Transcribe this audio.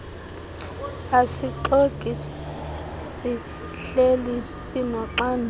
isixeko sihleli sinoxanduva